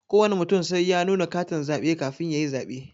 Kowana mutum sai ya nuna katin zabe kafin yayi zabe.